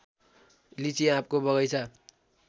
लिचि आँपको बगैंचा